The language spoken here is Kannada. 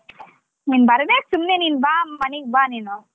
ನೀನ್ ಬರಬೇಕ ಸುಮ್ನೆ ನೀನ್ ಬಾ ಮನಿಗ್ ಬಾ ನೀನು.